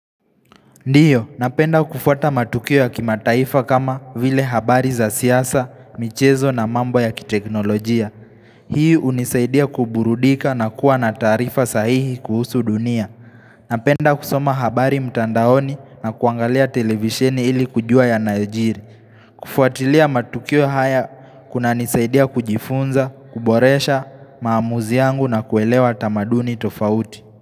Ndiyo, napenda kufuata matukio ya kimataifa kama vile habari za siyasa, michezo na mambo ya kiteknolojia. Hii unisaidia kuburudika na kuwa na tarifa sahihi kuhusu dunia. Napenda kusoma habari mtandaoni na kuangalia televisheni ili kujua yanayojiri. Kufuatilia matukio haya kunanisaidia kujifunza, kuboresha, maamuzi yangu na kuelewa tamaduni tofauti.